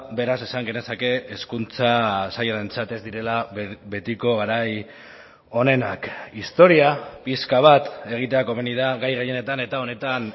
beraz esan genezake hezkuntza sailarentzat ez direla betiko garai onenak historia pixka bat egitea komeni da gai gehienetan eta honetan